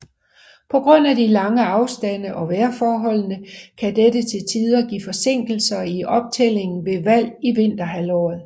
På grund af de lange afstande og vejrforholdene kan dette til tider give forsinkelser i optællingen ved valg i vinterhalvåret